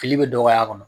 Fili bɛ dɔgɔya a kɔnɔ